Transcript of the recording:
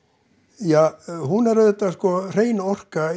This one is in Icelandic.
ja hún er auðvitað hrein orka